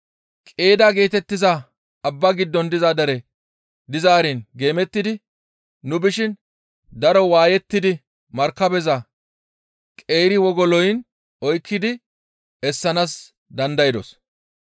Qeedda geetettiza abba giddon diza dere dizaarin geemettidi nu bishin daro waayettidi markabeza qeeri wogoloyin oykkidi essanaas dandaydos.